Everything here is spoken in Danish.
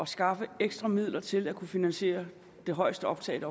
skaffe ekstra midler til at kunne finansiere det højeste optag